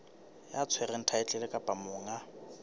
ya tshwereng thaetlele kapa monga